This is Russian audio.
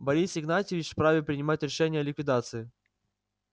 борис игнатьевич вправе принимать решения о ликвидации